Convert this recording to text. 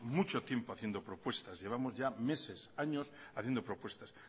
mucho tiempo haciendo propuestas llevamos ya meses años haciendo propuestas